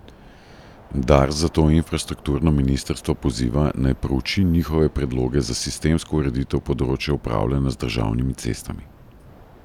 Dars zato infrastrukturno ministrstvo poziva, naj prouči njihove predloge za sistemsko ureditev področja upravljanja z državnimi cestami.